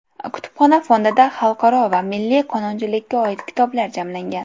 Kutubxona fondida xalqaro va milliy qonunchilikka oid kitoblar jamlangan.